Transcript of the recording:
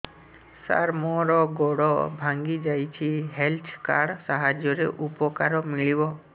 ସାର ମୋର ଗୋଡ଼ ଭାଙ୍ଗି ଯାଇଛି ହେଲ୍ଥ କାର୍ଡ ସାହାଯ୍ୟରେ ଉପକାର ମିଳିବ